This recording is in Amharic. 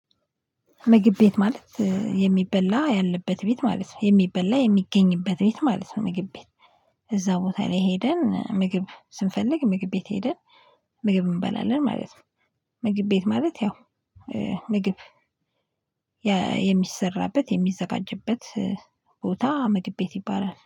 ምግብ ቤት ማለት የሚበላ ያለበት ቤት ማለት ነው የሚበላ የሚገኝበት ቤት ማለት ነው ምግብ ቤት እዛ ቦታ ላይ ሄደን ምግብ ስንፈልግ ምግብ ቤት ሄደን ምግብ እንበላለን ማለት ነው። ምግብ ቤት ማለት ያው ምግብ የሚሰራበት የሚዘጋጀበት ቦታ ምግብ ቤት ይባላል